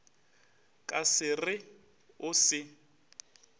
ka se re o se